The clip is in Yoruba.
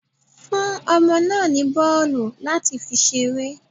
Fún ọmọ náà ní bọ́ọ̀lù láti fi ṣeré.